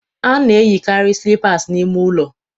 A na-eyikarị slippers n'ime ụlọ